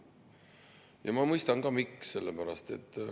Ja ma mõistan ka, miks.